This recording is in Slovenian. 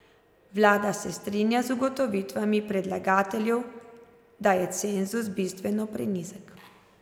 Vlada se strinja z ugotovitvami predlagateljev, da je cenzus bistveno prenizek.